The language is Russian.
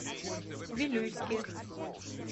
вилюйске